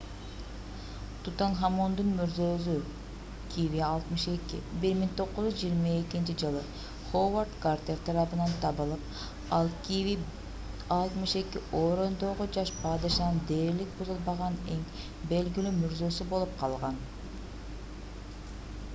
тутанхамондун мүрзөзү kv62. 1922-жылы ховард картер тарабынан табылып ал kv62 — өрөөндөгү жаш падышанын дээрлик бузулбаган эң белгилүү мүрзөсү болуп калган